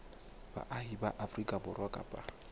baahi ba afrika borwa kapa